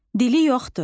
Dili yoxdur.